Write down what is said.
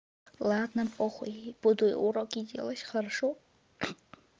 ладно по хуй буду уроки делать хорошо